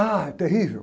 Ah, terrível.